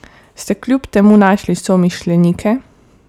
Ste kljub temu našli somišljenike?